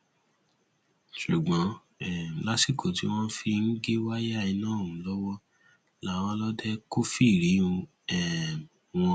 ṣùgbọn um lásìkò tí wọn ń gé wáyà iná ọhún lọwọ làwọn ọlọdẹ kófìrí um wọn